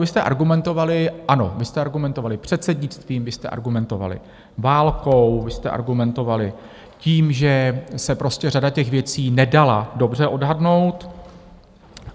Vy jste argumentovali, ano, vy jste argumentovali předsednictvím, vy jste argumentovali válkou, vy jste argumentovali tím, že se prostě řada těch věcí nedala dobře odhadnout.